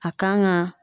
A kan ga